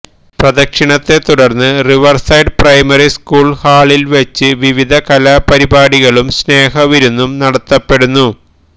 പ്രദക്ഷിണത്തെ തുടര്ന്ന് riverside primary school ഹാളില് വെച്ച് വിവിധ കലാപരിപാടികളും സ്നേഹവിരുന്നും നടത്തപ്പെടുന്നു